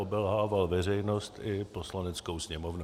Obelhával veřejnost i Poslaneckou sněmovnu.